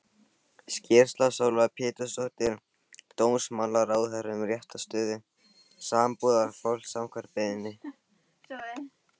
Skýrsla Sólveigar Pétursdóttur dómsmálaráðherra um réttarstöðu sambúðarfólks, samkvæmt beiðni.